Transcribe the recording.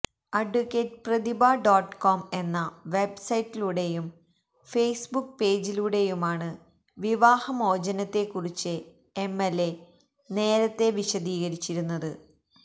advocate Prathibha dot com എന്ന വെബ്സൈറ്റിലൂടെയും Facebook പേജിലൂടെയുമാണ് വിവാഹമോചനത്തെക്കുറിച്ച് എംഎല്എ നേരത്തെ വിശദീകരിച്ചിരുന്നത്